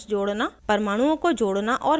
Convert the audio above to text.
* परमाणुओं को जोड़ना और मिटाना और